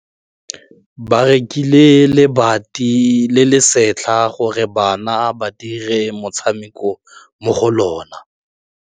Ba rekile lebati le le setlha gore bana ba dire motshameko mo go lona.